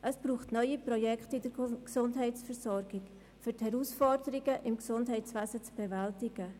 Es braucht neue Projekte in der Gesundheitsversorgung, um die Herausforderungen im Gesundheitswesen zu bewältigen.